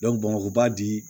bamakɔ ba bi